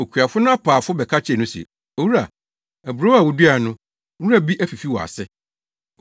“Okuafo no apaafo bɛka kyerɛɛ no se, ‘Owura, aburow a wuduae no, nwura bi afifi wɔ ase!’